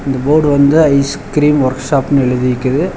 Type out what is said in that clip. அந்த போடு வந்து ice cream ஒர்க் ஷாப்னு எழுதி விக்கிது.